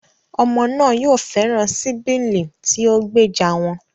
Ọmọ náà yóò fẹ́ràn sibiling tí ó gbèjà wọn